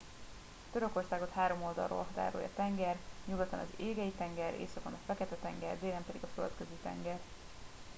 törökországot három oldalról határolja tenger nyugaton az égei tenger északon a fekete tenger délen pedig a földközi tenger